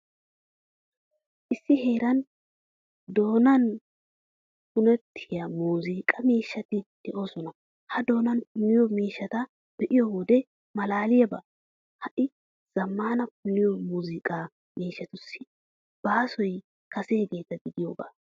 Issi heeran doonan punettiyaa muuzunqqaa miishshati de'oosona. Ha doonan punniyoo miishshata be'iyoo wode, malaaliyaabay ha'i zammaana punniyoo muuzunqqa miishshatussi baasoy kaseegeeta gidiyooga.